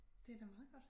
Det da meget godt